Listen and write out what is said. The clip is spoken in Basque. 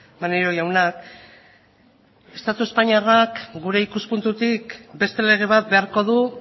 maneiro jaunak estatu espainiarrak gure ikuspuntutik beste lege bat beharko du